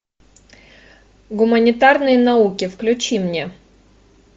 гуманитарные науки включи мне